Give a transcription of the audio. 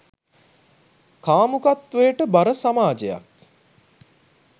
කාමුකත්වයට බර සමාජයක්